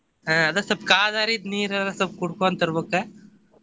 ಅಹ್ ಅದ ಸ್ವಲ್ಪ ಕಾದ್ ಆರಿದ್ ನೀರರಾ ಸ್ವಲ್ಪ ಕುಡ್ಕೊಂತ ಇರ್ಬೆಕ.